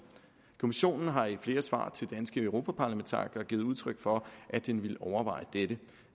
kommissionen har i flere svar til danske europaparlamentarikere givet udtryk for at den ville overveje dette